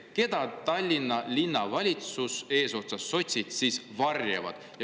Keda Tallinna Linnavalitsus eesotsas sotsidega varjab?